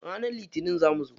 Ranar litinin za mu zo.